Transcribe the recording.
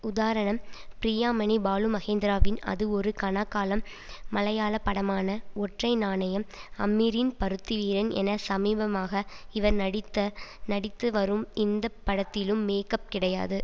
உதாரணம் ப்ரியாமணி பாலுமகேந்திராவின் அது ஒரு கனாக்காலம் மலையாள படமான ஒற்றை நாணயம் அமீரின் பருத்திவீரன் என சமீபமாக இவர் நடித்த நடித்து வரும் எந்த படத்திலும் மேக்கப் கிடையாது